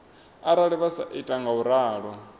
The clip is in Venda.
arali vha sa ita ngauralo